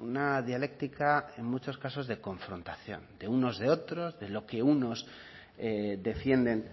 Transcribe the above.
una dialéctica en muchos casos de confrontación de unos de otros de lo que unos defienden